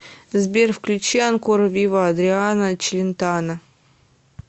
сбер включи анкора виво адриано челентано